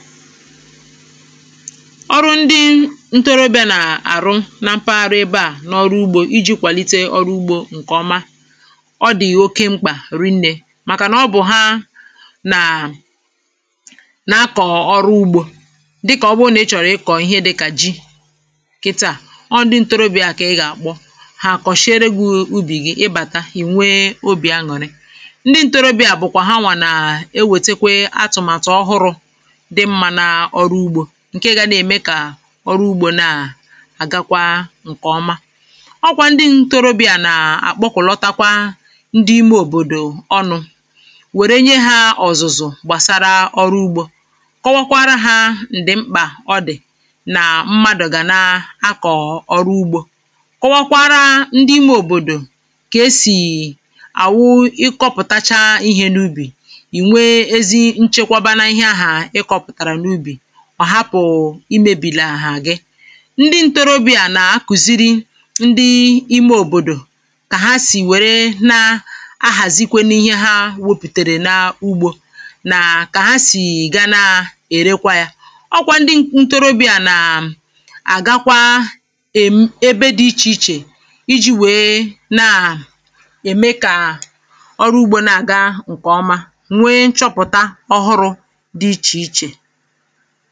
ọrụ ndị ntorobịa na àrụ na mpaghara ebe à n’ọrụ ugbȯ iji̇ kwàlite ọrụ ugbȯ ǹkè ọma ọ dị̀ oke mkpà rinnė màkànà ọ bụ̀ ha nà nà-akọ̀ ọrụ ugbȯ dịkà ọ bụụ nà ị chọ̀rọ̀ ịkọ̀ ihe dịkà ji̇ kịtị à ọ ndị ntorobịa kà ị gà àkpọ̇ ha kọ̀shịerėghi̇ ubì gị ị bàta ìnwee obì añụ̀rị ndị ntorobịa bụ̀kwà ha nwà nà e wètètekwe atụ̀màtụ̀ ọhụrụ̇ ọrụ ugbȯ nà àgakwa ǹkè ọma ọkwà ndị ntorobị̀à nà àkpọkụ̀lọtakwa ndị ime òbòdò ọnụ̇ wèrenye ha òzùzù gbàsara ọrụ ugbȯ kọwakwara hȧ ǹdị̀mkpà ọdị̀ nà mmadụ̀ gà na akọ̀ ọrụ ugbȯ kọwakwara ndị ime òbòdò kà esì àwụ ịkọpụ̀tacha ihė n’ubì ọ̀ hapụ̀ imėbìlà àhà gị ndị ntorobịa nà-àkùziri ndị ime òbòdò kà ha sì wère nà-ahàzikwe n’ihe ha wopùtèrè n’ugbȯ nà kà ha sì ị̀ga na-èrekwa yȧ ọkwa ndị ntorobịa nà-àgakwa ème ebe dị ichè ichè iji̇ wèe nà-ème kà ọrụ ugbȯ na-àga ǹkèọma nwee nchọpụ̀ta ọhụrụ̇ dị ichè ichè foto